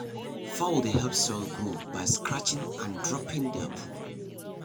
fowl dey help soil grow by scratching and dropping their poo.